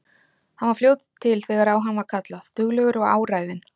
Hann var fljótur til þegar á hann var kallað, duglegur og áræðinn.